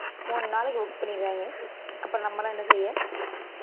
மூணு நாளைக்கு book பண்ணிடுவாங்க அப்புறம் நம்ம எல்லாம் என்ன செய்ய